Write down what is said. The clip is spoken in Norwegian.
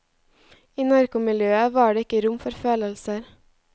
I narkomiljøet var det ikke rom for følelser.